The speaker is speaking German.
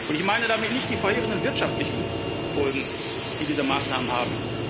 Ich meine damit nicht die verheerenden wirtschaftlichen Folgen, die diese Maßnahmen haben.